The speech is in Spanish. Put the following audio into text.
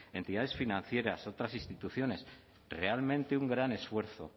entidades financieras otras instituciones realmente un gran esfuerzo